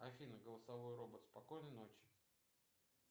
афина голосовой робот спокойной ночи